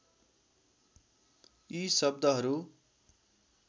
यी शब्दहरू